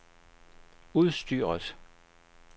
udstyret